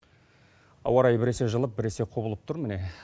ауа райы біресе жылып бірсе құбылып тұр міне